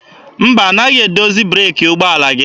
Mba, anaghị edozi breeki ụgbọala gị.